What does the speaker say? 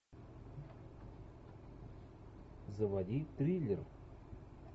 заводи триллер